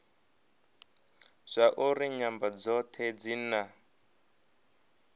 zwauri nyambo dzothe dzi na